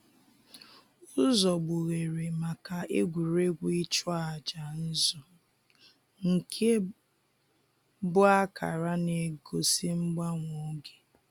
Ụzọ gbughere maka egwuregwu ịchụ aja nzụ nke bụ akara na-egosi mgbanwe oge.